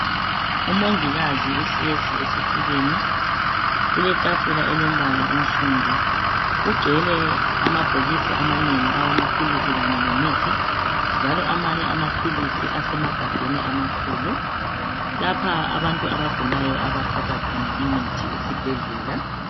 Umongikazi uhlezi esitulweni kuletafula elombala onsundu kugcwele amabhokisi amanengi awamaphilisi kanye lemithi njalo amanye amaphilisi asemagabheni amakhulu lapha abantu abagulayo abathatha imithi khona imithi esibhedlela.